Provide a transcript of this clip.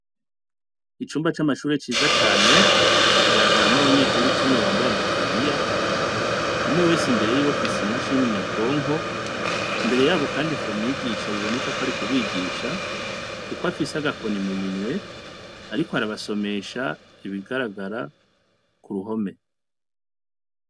Icumba c' amashuri ciza cane, kigaragaramwo abanyeshure cumi bambaye amataburiya, umwe wese imbere yiwe afise imashini nyabwonko, imbere yabo kandi hari umwigisha biboneka ko ari kubigisha, kuko afise agakoni mu minwe, ariko arabasomesha ibigaragara ku ruhome.